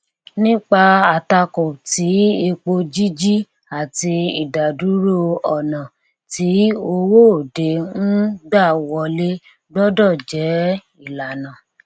nípa àtakò ti epo jíjí àti ìdádúró ọnà tí owó òde ń gbà wọlé gbọdọ jẹ ìlànà